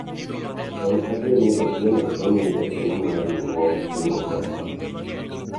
en adier ni Otieno kia nying jakeno mar riwruog kungo kod hola